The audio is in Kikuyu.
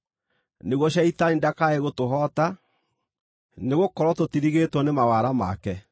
nĩguo Shaitani ndakae gũtũhoota. Nĩgũkorwo tũtirigĩtwo nĩ mawara make.